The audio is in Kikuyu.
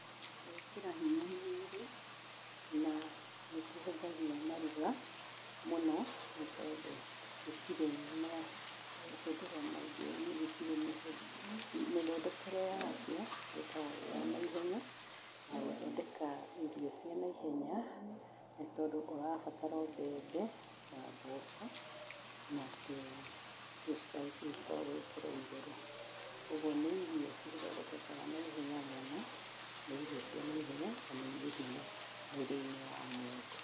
Gwĩkĩra hinya mwĩrĩ na nĩkĩhũthagia maruga mũno tondũ gĩtĩrĩ na mahũthĩro maingĩ, mĩthondekere ya kĩo ikoragwo ĩ ya naihenya, ya gũthondeka irio cia naihenya nĩ tondũ ũrabatara o mbembe na mboco na tũ spices twa gwĩkĩra igũrũ kogwuo nĩ irio cithondekekaga na ihenya mũno, nĩ irio cia naihenya na nĩ irĩ hinya mwĩrĩ-inĩ wa mũndũ.